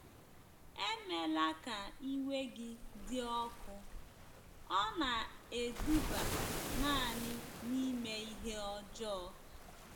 Emela ka iwe gị dị ọkụ, ọ na-eduba nanị n’ime ihe ọjọọ.